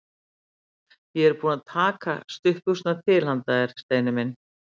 Ég er búin að taka stuttbuxurnar til handa þér, Steini minn.